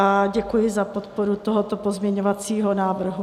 A děkuji za podporu tohoto pozměňovacího návrhu.